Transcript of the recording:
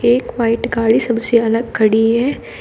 एक व्हाईट गाड़ी सबसे अलग खड़ी है।